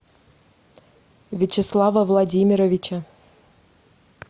вячеслава владимировича